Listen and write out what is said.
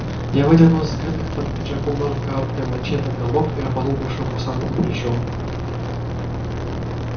я выдернул из скрытых под пиджаком ножен короткое мачете голок и рубанул бывшего курсанта по плечу